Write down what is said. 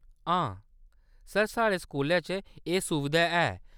हां ज , सर, साढ़े स्कूलै च एह्‌‌ सुबधा है।